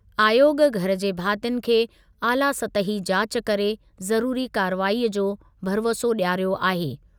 आयोॻ घर जे भातियुनि खे आला सतही जाच करे ज़रुरी कार्रवाईअ जो भरिवसो ॾियारियो आहे।